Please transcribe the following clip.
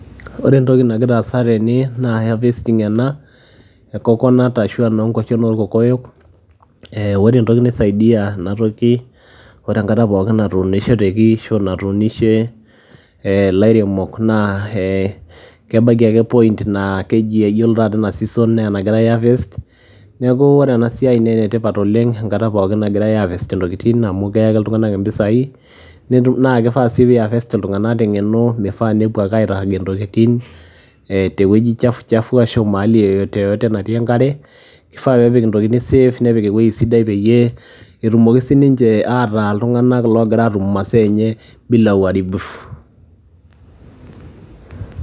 Ore entoki nagira aasa tene naa harvesting ena e coconut, ashu enoo nkwashen orkokoyok, ee ore enoki naisaidia ena toki ore enkata pookin natuunisheteki ashu natuunishe ee ilairemok naa ee kebaiki ake point naa keji iyiolo taata ena season nee enagirai aiharvest. Neeku ore ena siai naa ene tipat oleng' enkata pookin nagirai aiharvest intokitin amu keyaki iltung'anak impisai naa kifaa sii pii harvest iltung'anak te ng'eno mifaa nepuo ake airagie ntokitin ee te wueji chafu chafu ashu mahali yeyote yeyote natii enkare, ifaa peepik intokitin safe, nepik ewuei sidai peyie etumoki sininje ataa iltung'anak loogira aatum masaa enye bila uharibifu.